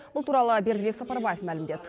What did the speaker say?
бұл туралы бердібек сапарбаев мәлімдеді